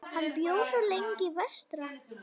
Hann bjó svo lengi vestra.